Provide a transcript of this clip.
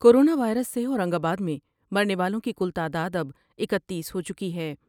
Corona virus سے Aurangabad میں مرنے والوں کی کل تعداداب اکتیس ہو چکی ہے ۔